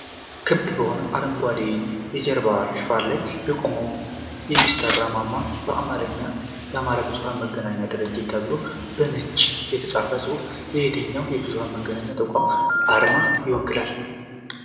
ክብ በሆነ አረንጓዴ የጀርባ ሽፋን ላይ የቆመው የማሠራጫ ማማ እና በአማርኛ "አማራ ብዙኃን መገናኛ ድርጅት" ተብሎ በነጭ የተጻፈው ጽሑፍ የየትኛውን የብዙኃን መገናኛ ተቋም አርማን ይወክላል?